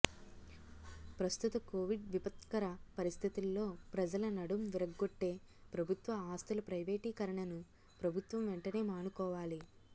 ప్రస్తుత కొవిడ్ విపత్కర పరిస్థితుల్లో ప్రజల నడుం విరగొట్ట్టే ప్రభుత్వ ఆస్తుల ప్రైవేటీకరణను ప్రభుత్వం వెంటనే మానుకోవాలి